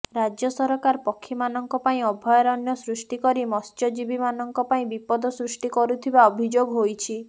ରାଜ୍ୟ ସରକାର ପକ୍ଷୀମାନଙ୍କ ପାଇଁ ଅଭୟାରଣ୍ୟ ସୃଷ୍ଟି କରି ମତ୍ସ୍ୟଜୀବୀମାନଙ୍କ ପାଇଁ ବିପଦ ସୃଷ୍ଟି କରୁଥିବା ଅଭିଯୋଗ ହୋଇଛି